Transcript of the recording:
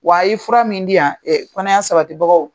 Wa a y'i fura min di yan, kɔnɔya sabatibagaw,